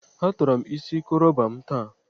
Atọrọ m isi koroba m taa.